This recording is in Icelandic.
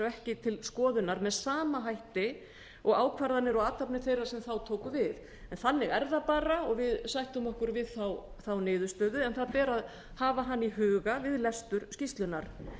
ekki til skoðunar með sama hætti og ákvarðanir og athafnir þeirra sem þá tóku við en þannig er það bara og við sættum okkur við þá niðurstöðu en það ber að hafa hana í huga við lestur skýrslunnar